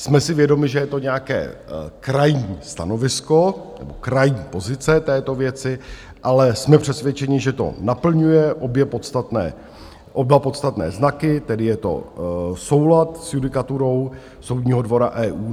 Jsme si vědomi, že je to nějaké krajní stanovisko nebo krajní pozice této věci, ale jsme přesvědčeni, že to naplňuje oba podstatné znaky, tedy je to soulad s judikaturou Soudního dvora EU.